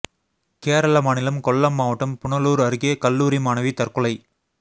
கேரள மாநிலம் கொல்லம் மாவட்டம் புனலூர் அருகே கல்லூரி மாணவி தற்கொலை